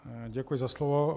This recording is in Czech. Děkuji za slovo.